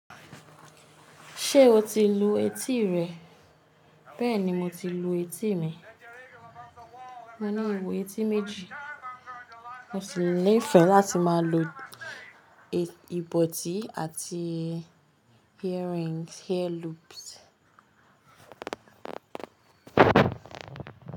Ṣé o ti lu etí rẹ? Bẹ́ẹ̀ni, mo ti lu etí mi. Mo ní èwù etí méjì. Mo sì ni fẹ́ láti máa lo ìbọtí àti earrings, hair loops.